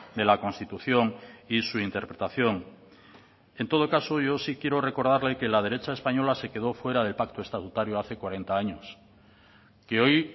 de la constitución y su interpretación en todo caso yo sí quiero recordarle que la derecha española se quedó fuera del pacto estatutario hace cuarenta años que hoy